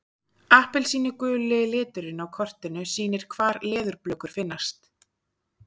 Appelsínuguli liturinn á kortinu sýnir hvar leðurblökur finnast.